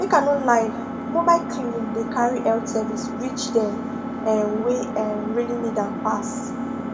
make i no lie mobile clinics dey carry health services reach dem um wey um really need am pass